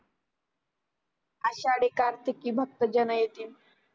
आषाडी कार्तिकी भक्त जण येति